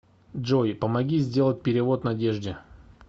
джой помоги сделать перевод надежде